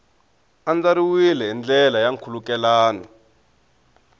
andlariwile hi ndlela ya nkhulukelano